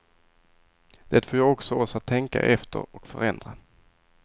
Det får ju också oss att tänka efter och förändra.